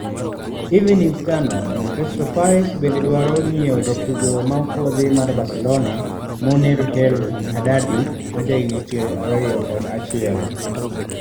(Evening Standard) Crystal Palace bende dwaro nyiewo jatugo ma opuodhi mar Barcelona Munir El Haddadi, ma jahigni 21.